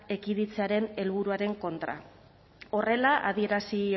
ekiditzearen helburuaren kontra horrela adierazi